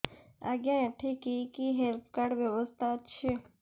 ଆଜ୍ଞା ଏଠି କି କି ହେଲ୍ଥ କାର୍ଡ ବ୍ୟବସ୍ଥା ଅଛି